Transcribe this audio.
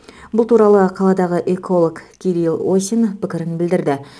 бұл туралы қаладағы эколог кирил осин пікірін білдірді